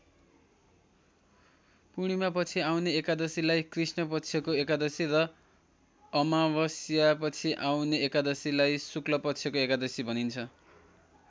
पूर्णिमापछि आउने एकादशीलाई कृष्ण पक्षको एकादशी र अमावस्यापछि आउने एकादशीलाई शुक्ल पक्षको एकादशी भनिन्छ।